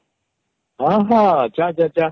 ହଁ ହଁ ଯା ଯା ଯା